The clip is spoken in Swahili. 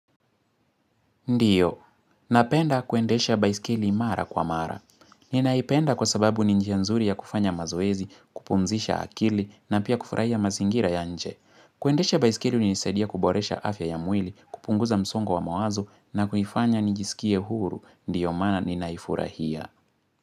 Ndio. Napenda kuendesha baiskeli mara kwa mara. Ninaipenda kwa sababu ninjia nzuri ya kufanya mazoezi, kupumzisha akili na pia kufurahia mazingira ya nje. Kuendesha baiskeli hunisaidia kuboresha afya ya mwili, kupunguza msongo wa mawazo na kunifanya nijisikie huru. Ndio maana ninaifurahia.